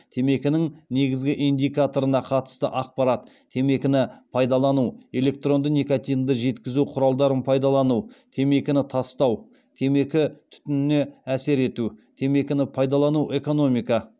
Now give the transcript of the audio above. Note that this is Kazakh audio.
темекінің негізгі индикаторына қатысты ақпарат темекіні пайдалану электронды никотинді жеткізу құралдарын пайдалану темекіні тастау темекі түтініне әсер ету темекіні пайдалану экономика